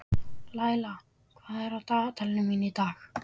Laíla, hvað er á dagatalinu mínu í dag?